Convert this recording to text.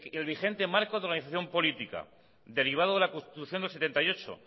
el vigente marco de organización política derivado de la constitución de mil novecientos setenta y ocho